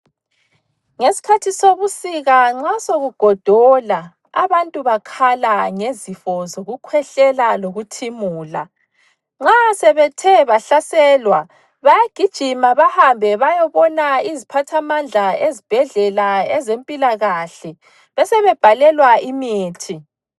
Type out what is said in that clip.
Ngesikhathi sobusika nxa sokugodola abantu bakhala ngezifo zokukhwehlela lokuthimula. Nxa sebethe bahlaselwa bayagijima bahambe bayebona iziphathamandla ezibhedlela ezempilakahle besebebhalelwa imithi.